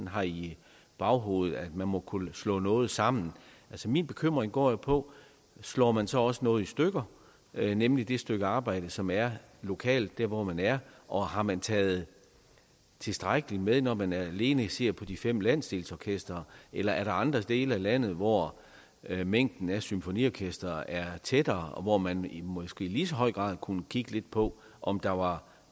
har i baghovedet nemlig at man må kunne slå noget sammen min bekymring går på slår man så ikke også noget i stykker nemlig det stykke arbejde som er lokalt der hvor man er og har man taget tilstrækkelig med at når man alene ser på de fem landsdelsorkestrene eller er der andre dele af landet hvor mængden af symfoniorkestre er tættere og hvor man måske i lige så høj grad kunne kigge lidt på om der var